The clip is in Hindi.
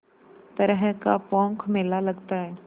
तरह का पोंख मेला लगता है